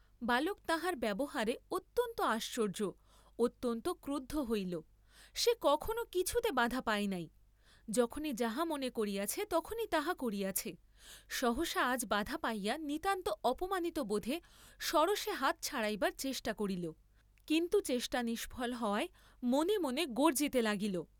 বালক তাঁহার ব্যবহারে অত্যন্ত আশ্চর্য্য, অত্যন্ত ক্রুদ্ধ হইল; সে কখনো কিছুতে বাধা পায় নাই, যখনি যাহা মনে করিয়াছে তখনি তাহা করিয়াছে, সহসা আজ বাধা পাইয়া নিতান্ত অপমানিত বোধে সরোষে হাত ছাড়াইবার চেষ্টা করিল, কিন্তু চেষ্টা নিষ্ফল হওয়ায় মনে মনে গর্জ্জিতে লাগিল।